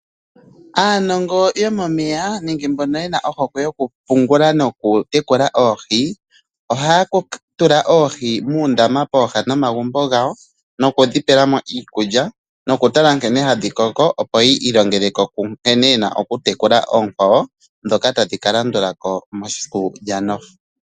Aanongo yomomeya nenge mbono yena ohokwe yokupungula nokutekula oohi, ohaya tula oohi muundama pooha nomagumbo gawo nokudhipela mo iikulya. Nokutala nkene hadhi koko opo ya ilongeleko nkene yena okutekula oonkwawo, dhoka tadhi ka landulako mesiku lyano.